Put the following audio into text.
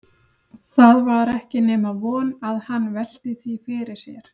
Það var ekki nema von að hann velti því fyrir sér.